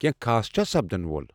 کینٛہہ خاص چھا سپدَن وول؟